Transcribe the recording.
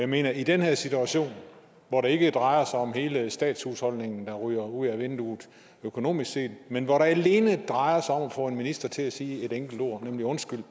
mener at i den her situation hvor det ikke drejer sig om hele statshusholdningen der ryger ud ad vinduet økonomisk set men hvor det alene drejer sig om at få en minister til at sige et enkelt ord nemlig undskyld